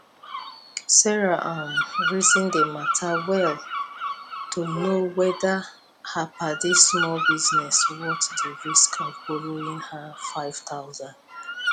sarah um reason di matter well to know whether her padi small business worth di risk of borrowing her five thousand